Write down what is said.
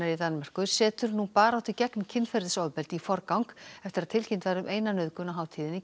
í Danmörku setur nú baráttu gegn kynferðisofbeldi í forgang eftir að tilkynnt var um eina nauðgun á hátíðinni